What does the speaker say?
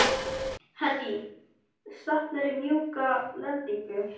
Henný, stefnir í mjúka lendingu?